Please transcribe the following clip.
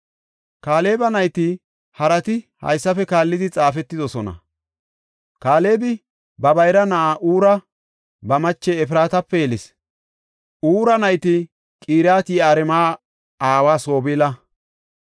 Kaaleba nayti harati haysafe kaallidi xaafetidosona. Kaalebi ba bayra na7aa Huura ba mache Efraatape yelis. Huura nayti Qiriyat-Yi7aarima aawa Sobaala,